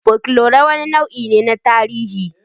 Fokelore wani nau'i ne na tarihi.